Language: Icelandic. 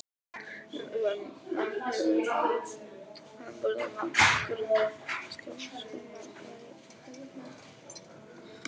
Undanfarin ár hefur framburðarmagn nokkurra íslenskra vatnsfalla verið mælt.